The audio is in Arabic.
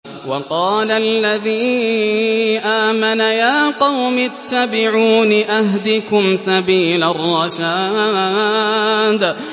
وَقَالَ الَّذِي آمَنَ يَا قَوْمِ اتَّبِعُونِ أَهْدِكُمْ سَبِيلَ الرَّشَادِ